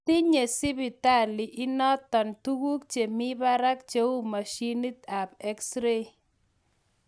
tinye sibitali inatog tugug chemi parag cheu mashinit ap exreit